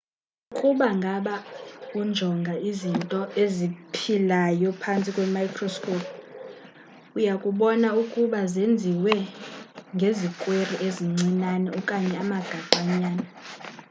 ukuba ngaba unjonga izinto eziphilayo phantsi kwemicroscope uyakubona ukuuba zenziwe ngezikweri ezincinane okanye amagaqa nyana